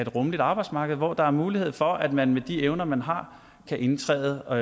rummeligt arbejdsmarked hvor der er mulighed for at man med de evner man har kan indtræde og